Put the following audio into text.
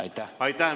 Aitäh!